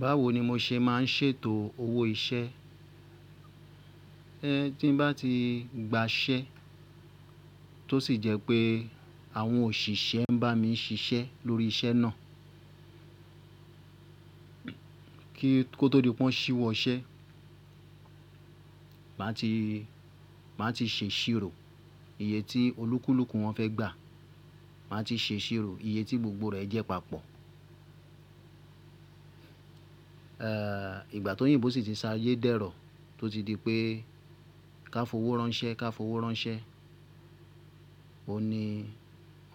Báwo ni mo ṣe má n ṣètò owó iṣẹ́? Ẹ tí bá ti gba iṣẹ́ tó sì jẹ́ pé àwọn òṣìṣẹ́ ń bá mi ṣiṣẹ́ lórí iṣẹ́ náà, kí kó tó di wọ́n ṣíwọ́ iṣẹ́, màá ti, màá ti ṣe ìṣirò iye tí olúkúlùkù wọn fẹ́ gbà. Màá ti ṣe ìṣirò iye tí gbogbo rẹ̀ jẹ́ papọ̀. Ìgbà tó oyìnbó sì ti sa ayé dẹ́rọ̀ tó ti di pé ká fowó ránṣẹ́, ká fowó ránṣẹ́, òun ni,